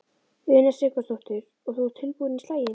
Una Sighvatsdóttir: Og þú ert tilbúinn í slaginn?